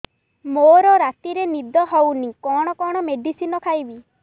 ମୋର ରାତିରେ ନିଦ ହଉନି କଣ କଣ ମେଡିସିନ ଖାଇବି